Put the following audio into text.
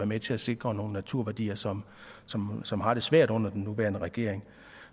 med til at sikre nogle naturværdier som som har det svært under den nuværende regering